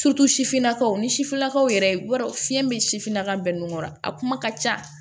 sifinnakaw ni sifinnakaw yɛrɛ fiɲɛ bɛ sifinnaka bɛɛ nun kɔrɔ a kuma ka ca